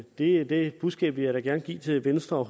det det budskab vil jeg da gerne give til venstre og